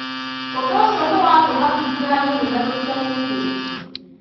ũndũ ũcio nĩwatũmakirie hanini na tũtiamenyithĩtio.